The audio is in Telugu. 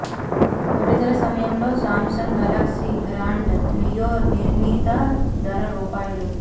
విడుదల సమయంలో సామ్సంగ్ గెలాక్సీ గ్రాండ్ నియో నిర్ణీత ధర రూ